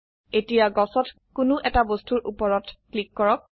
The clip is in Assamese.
এতিয়া গছত কোনো বস্তুৰ উপৰত ক্লিক কৰক